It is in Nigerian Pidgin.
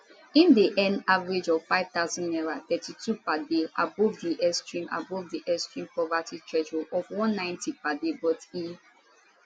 im dey earn average of 5000 naira 3 2 per day abovedi extreme abovedi extreme poverty threshold of 190 per daybut e